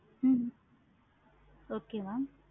hmm okay mam